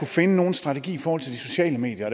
finde nogen strategi i forhold til de sociale medier